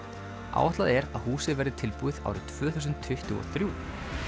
áætlað er að húsið verði tilbúið árið tvö þúsund tuttugu og þrjú